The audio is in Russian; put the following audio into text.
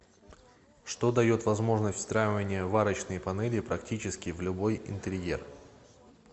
что дает возможность встраивания варочной панели практически в любой интерьер